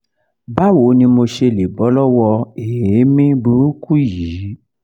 báwo ni mo ṣe lè bọ́ lọ́wọ́ èémí burúkú yìí?